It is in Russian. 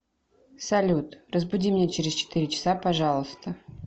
салют разбуди меня через четыре часа пожалуйста